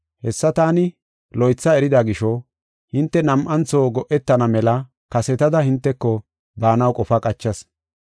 Hessa taani loytha erida gisho, hinte nam7antho go7etana mela kasetada hinteko baanaw qofa qachas.